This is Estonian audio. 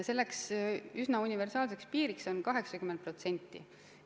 See üsna universaalne piir on 80%.